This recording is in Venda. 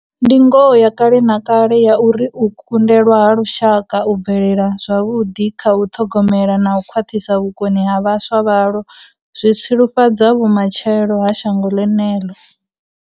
Ndi ngoho ya kale na kale ya uri u kundelwa ha lushaka u bvelela zwavhuḓi kha u ṱhogomela na u khwaṱhisa vhukoni ha vhaswa vhalwo zwi tsilufhadza vhuma tshelo ha shango ḽeneḽo.